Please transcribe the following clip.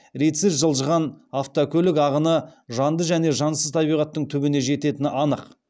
ретсіз жылжыған автокөлік ағыны жанды және жансыз табиғаттың түбіне жететіні анық